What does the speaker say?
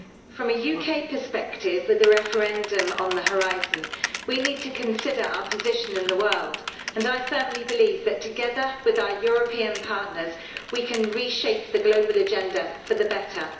From a UK perspective, with a referendum on the horizon, we need to consider our position in the world, and I firmly believe that together with our European partners we can reshape the global agenda for the better.